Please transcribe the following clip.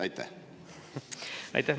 Aitäh!